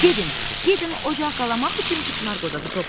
“Gedin, gedin ocaq qalamaq üçün küknar qozası toplayın.”